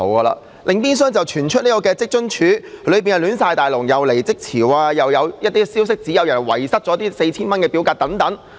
另一邊廂，又傳出職津處內部混亂，既有離職潮，又有消息指有人遺失了申請表格等。